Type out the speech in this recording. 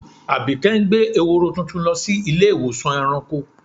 Àbíké ń gbẹ̀ è̩hórò tuntun lọ sí ilẹ̀-ìwọsàn ẹ̀ràǹkò.